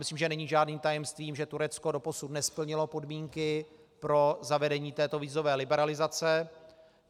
Myslím, že není žádným tajemstvím, že Turecko doposud nesplnilo podmínky pro zavedení této vízové liberalizace.